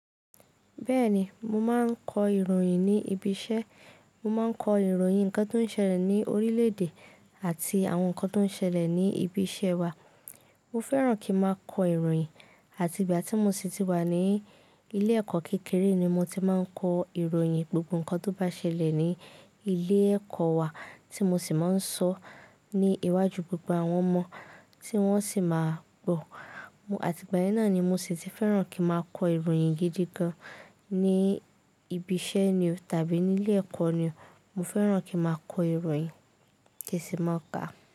Bẹ́ẹ̀ni, mo máa ń kọ ìròyìn ní ibi iṣẹ́. Mo má ń kọ ìròyìn ǹkan tó ń ṣẹlẹ̀ ní orílẹ̀ èdè àti àwọn ǹkan tó ń ṣẹlẹ̀ ní ibi iṣẹ́ wa. Mo fẹ́ràn kí n máa kọ ìròyìn àti ìgbà tí mo ṣì ti wà ní ilé ẹ̀kọ́ kékeré ni mo ti máa ń kọ ìròyìn gbogbo ǹkan tó bá ṣẹlẹ̀ ní ilé ẹ̀kọ́ wa tí mo sì máa ń sọ ní iwájú gbogbo àwọn ọmọ tí wọ́n sì máa gbọ̀. Àti ìgbà yẹn náà ni mo ṣì ti fẹ́ràn kí n máa kọ ìròyìn gidi gan ní ibi iṣẹ́ ni o tàbí ní ilé ẹ̀kọ́ ni. Mo fẹ́ràn kí n máa kọ ìròyìn, kì í sì máa ka.